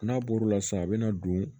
N'a bɔr'o la sisan a bɛ na don